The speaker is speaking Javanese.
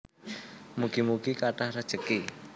Mugi mugi kathah rejeki